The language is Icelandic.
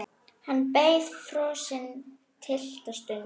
Hann beið frosinn litla stund.